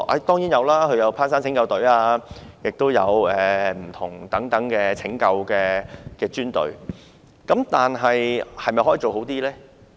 當然有，他們有攀山拯救隊，也有其他不同的拯救專隊，但可否再做得好一點呢？